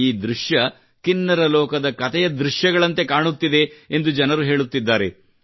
ಈ ದೃಶ್ಯ ಕಿನ್ನರ ಲೋಕದ ಕತೆಯ ದೃಶ್ಯಗಳಂತೆ ಕಾಣುತ್ತಿದೆ ಎಂದು ಜನರು ಹೇಳುತ್ತಿದ್ದಾರೆ